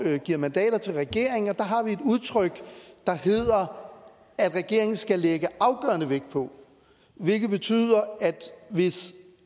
giver mandater til regeringen og udtryk der hedder at regeringen skal lægge afgørende vægt på hvilket betyder at hvis